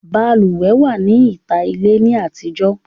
Balùwẹ̀ wà ní ìta ilé ní àtijọ́